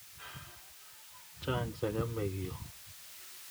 Chang' sagamik yu